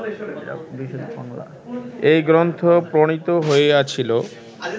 এই গ্রন্থ প্রণীত হইয়াছিল